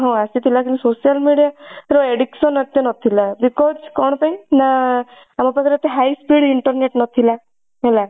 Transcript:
ହଁ ଆସିଥିଲା କିନ୍ତୁ social media ର addiction ଏତେ ନଥିଲା because କଣ ପାଇଁ ନା ଆମ ପାଖରେ ଏତେ high speed internet ନଥିଲା। ହେଲା